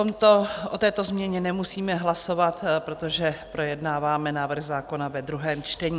O této změně nemusíme hlasovat, protože projednáváme návrh zákona ve druhém čtení.